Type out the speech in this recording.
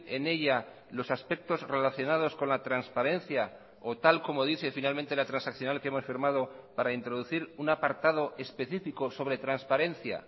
en ella los aspectos relacionados con la transparencia o tal como dice finalmente la transaccional que hemos firmado para introducir un apartado específico sobre transparencia